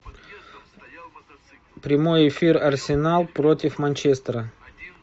прямой эфир арсенал против манчестера